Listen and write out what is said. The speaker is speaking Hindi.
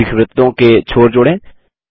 दीर्घवृत्तों के छोर जोड़ें